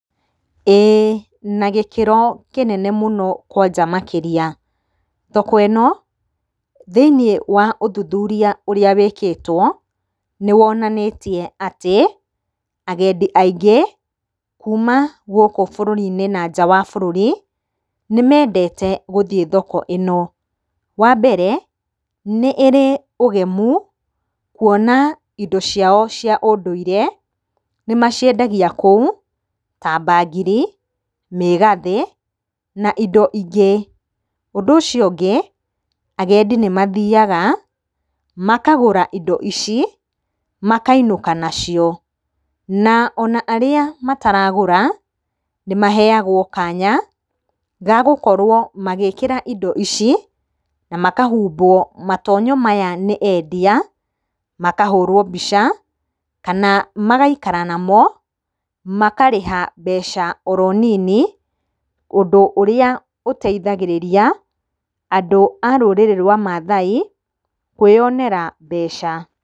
Ĩĩ na gĩkĩro kĩnene mũno kwanja makĩria. Thoko ĩno thĩinĩ wa ũthuthuria ũrĩa wĩkĩtwo nĩwonanĩtie atĩ agendi aingĩ kuma gũkũ bũrũri-inĩ na kuma nanja wa bũrũri nĩmendete gũthiĩ thoko ĩno. Wambere nĩ ĩrĩ ũgemu kuona indo ciao cia ũndũire nĩmaciendagia kũu ta bangiri, mĩgathĩ na indo ingĩ. Ũndũ ũcio ũngĩ agendi nĩmathiyaga makagũra indo ici makainũka nacio. Na ona arĩa mataragũra nĩmaheyagwo kanya ga gũkorwo magĩkĩra indo ici na makahumbwo matonyo maya nĩ endia, makahũrwo mbica kana magaikara namo makarĩha mbeca oro nini, ũndũ ũrĩa ũteithagĩrĩria andũ a rũrĩrĩ rwa mathai kwĩyonera mbeca.